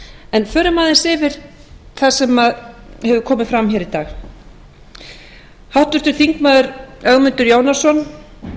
en förum aðeins yfir það sem hefur komið fram í dag háttvirtur þingmaður ögmundur jónasson